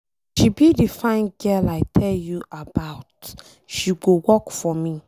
She be the fine girl I tell you about, she go work for me